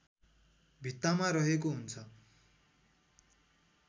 भित्तामा रहेको हुन्छ